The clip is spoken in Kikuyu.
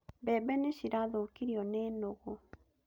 Mbebe nĩ cirathũkirio nĩ nũgũ